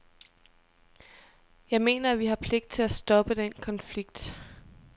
Jeg mener, at vi har pligt til at stoppe den konflikt.